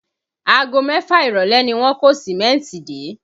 Aago mẹ́fà ìrọ̀lẹ́ ni wọ́n kó Sìmẹ́ntì dé